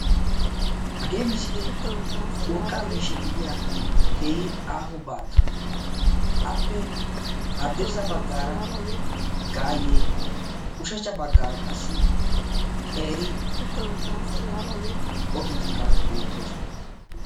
Urqqa miishsha gidiya keehi aaho baatta appe ushshachcha bagan gaaye beetes. Qassikka daro hara buquray beetes.